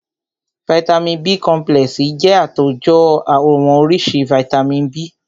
Vàìtamínií B complexi jẹ́ àtòjọ àwọn oríṣi vàìtamínií B.